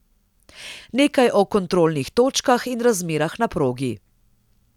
Nekaj o kontrolnih točkah in razmerah na progi.